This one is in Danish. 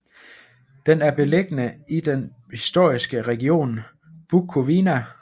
Den er beliggende i den historiske region Bukovina